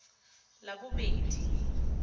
labobedi